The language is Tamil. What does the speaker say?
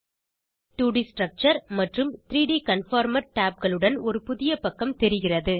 2ட் ஸ்ட்ரக்சர் மற்றும் 3ட் கன்ஃபார்மர் tabகளுடன் ஒரு புதியப்பக்கம் தெரிகிறது